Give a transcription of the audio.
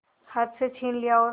हाथ से छीन लिया और